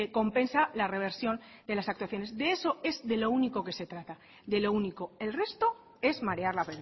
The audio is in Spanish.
compensa la reversión de las actuaciones de eso es lo único que se trata de lo único el resto es marear la